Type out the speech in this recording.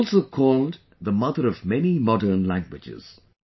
It is also called the mother of many modern languages